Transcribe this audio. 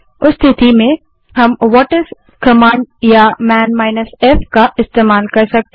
उस स्थिति में हम व्हाटिस कमांड या मन -f कमांड का इस्तेमाल कर सकते हैं